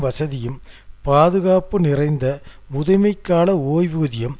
வசதியும் பாதுகாப்பும் நிறைந்த முதுமைக்கால ஓய்வூதியம்